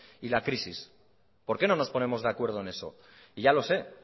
y la crisis por qué no nos ponemos de acuerdo en eso y ya lo sé